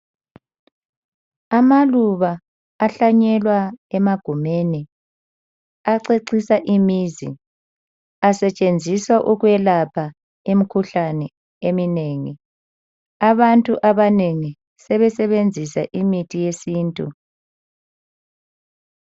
Amaluba ahlanyelwa emagumeni acecisa imizi asetshenziswa ukwelapha imikhuhlane eminengi abantu abanengi sebesebenzisa imithi yesintu.